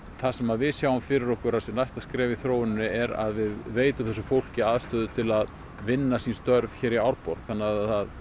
það sem að við sjáum fyrir okkur að næsta skref í þróuninni er að við veitum þessu fólki aðstöðu til að vinna sín störf hér í Árborg þannig að það